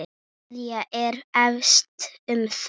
María er efins um það.